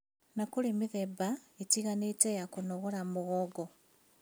Na kũrĩ mĩthemba ĩtiganĩte ya kũnogora mũgongo